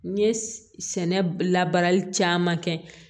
N ye sɛnɛ labaarali caman kɛ